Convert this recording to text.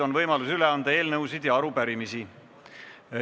On võimalus üle anda eelnõusid ja arupärimisi.